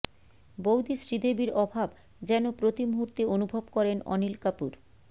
বৌদি শ্রীদেবীর অভাব যেন প্রতি মুহূর্তে অনুভব করেন অনিল কাপুর